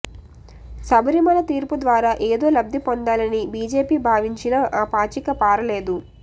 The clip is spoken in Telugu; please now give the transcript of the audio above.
శబరిమల తీర్పు ద్వారా ఏదో లబ్ధి పొందాలని బీజేపీ భావించినా ఆ పాచిక పారలేదు